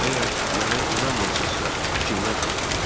Əgər mənə inanmırsınızsa, Cimdən soruşun.